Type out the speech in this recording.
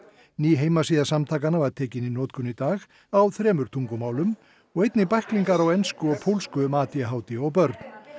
ný heimasíða samtakanna var tekin í notkun í dag á þremur tungumálum og einnig bæklingar á ensku og pólsku um a d h d og börn